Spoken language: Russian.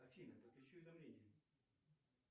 афина подключи уведомления